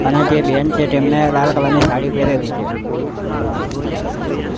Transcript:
અને તે બેન છે તેમને લાલ કલર ની સાડી પેરેલી છે.